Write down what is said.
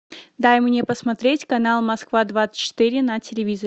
дай мне посмотреть канал москва двадцать четыре на телевизоре